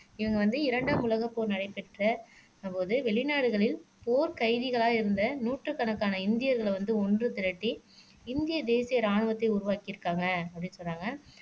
இவங்க வந்து இரண்டாம் உலகப் போர் நடைபெற்ற போது வெளிநாடுகளில் போர் கைதிகளாக இருந்த நூற்றுக்கணக்கான இந்தியர்களை வந்து ஒன்று திரட்டி இந்திய தேசிய ராணுவத்தை உருவாக்கியிருக்காங்க அப்படின்னு சொன்னாங்க